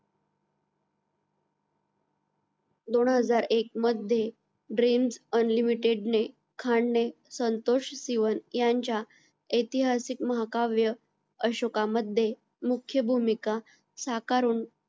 दोनहजार एक मध्ये dreams unlimited ने खान ने संतोष सिवन यांच्या ऐतिहासिक महाकाव्य अशोका मध्ये मुख्य भूमिका साकारून